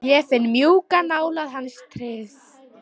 Ég finn mjúka nálægð hans og tryggð.